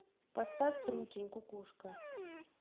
поставь трутень кукушка